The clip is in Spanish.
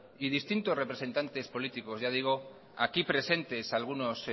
y distintos representantes políticos ya digo aquí presentes algunos